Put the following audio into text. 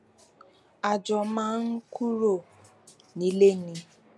a jọ máa ń kúrò nílé ni